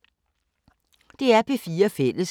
DR P4 Fælles